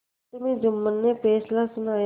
अंत में जुम्मन ने फैसला सुनाया